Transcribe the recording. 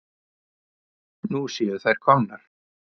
Nú séu þær komnar.